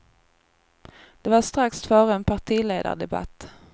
Det var strax före en partiledardebatt.